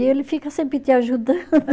E ele fica sempre te ajudando.